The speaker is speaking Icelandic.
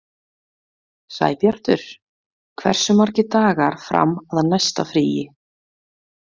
Sæbjartur, hversu margir dagar fram að næsta fríi?